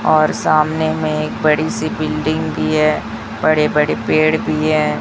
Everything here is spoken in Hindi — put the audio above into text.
और सामने में एक बड़ी सी बिल्डिंग भी है बड़े बड़े पेड़ भी हैं।